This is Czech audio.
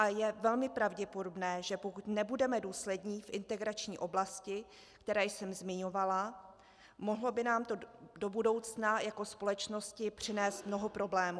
A je velmi pravděpodobné, že pokud nebudeme důslední v integrační oblasti, kterou jsem zmiňovala, mohlo by nám to do budoucna jako společnosti přinést mnoho problémů.